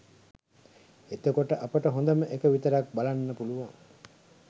එතකොට අපට හොදම එක විතරක් බලන්න පුළුවන්